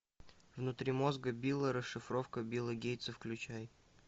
внутри мозга билла расшифровка билла гейтса включай